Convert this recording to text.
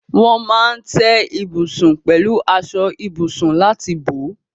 Wọ́n máa ń tẹ́ ibùsùn pẹ̀lú aṣọ ibùsùn láti bò ó.